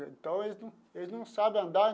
Então eles não eles não sabe andar.